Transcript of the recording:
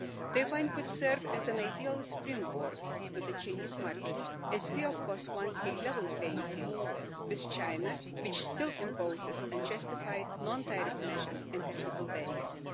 Taiwan could serve as an ideal springboard to the Chinese market as we, of course, want a level playing field with China, which still imposes unjustified non-tariff measures and technical barriers.